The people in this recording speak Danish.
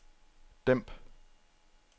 dæmp